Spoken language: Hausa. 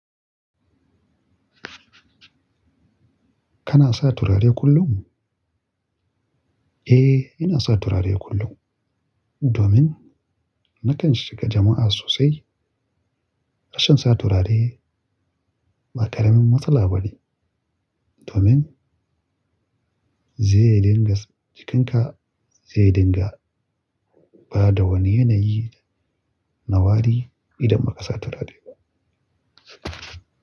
Kana sa turare kullum? Eh, ina sa turare kullum domin nakan shiga jama'a sosai. Rashin sa turare ba ƙaramin matsala bane domin zai dingas jikinka zai dinga bada wani yanayi na wari idan ba ka sa turare ba.